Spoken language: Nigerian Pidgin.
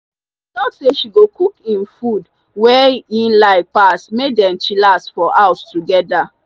she talk say she go cook himd ffod weye like pass may dem chillax for house togada.